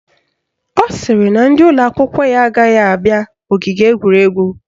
Ọ sịrị na ndị ụlọakwụkwọ ya agaghị abịa ogige egwuregwu